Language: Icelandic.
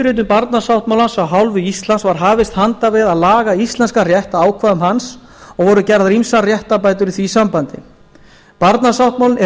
undirritun barnasáttmálans af hálfu íslands var hafist handa við að laga íslenskan rétt að ákvæðum hans og voru gerðar ýmsar réttarbætur í því sambandi barnasáttmálinn er